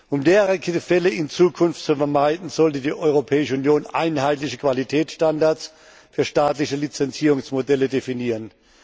Um derartige Fälle in Zukunft zu vermeiden, sollte die Europäische Union einheitliche Qualitätsstandards für staatliche Lizenzierungsmodelle definieren.